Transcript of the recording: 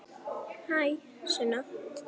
Hæ, Sunna.